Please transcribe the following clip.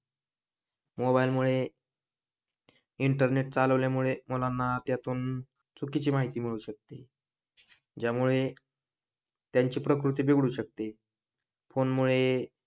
mobile मुळे internet चालवल्यामुळे मुलांना त्यातून चुकीची माहिती मिळू शकते ज्यामुळे त्यांची प्रकृती बिघडू शकते मोबाईल मुळे